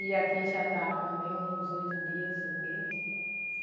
E aqui já está com bem uns oito dias o quê.